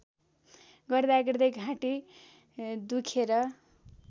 गर्दागर्दै घाँटी दुखेर